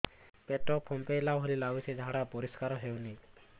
ପେଟ ଫମ୍ପେଇଲା ଭଳି ଲାଗୁଛି ଝାଡା ପରିସ୍କାର ହେଉନି